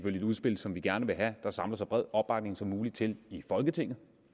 et udspil som vi gerne vil have der samler sig så bred opbakning som muligt til i folketinget